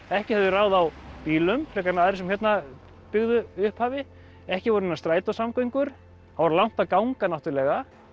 ekki höfðu þeir ráð á bílum frekar en aðrir sem hérna byggðu upphafi ekki voru neinar strætósamgöngur það var langt að ganga náttúrulega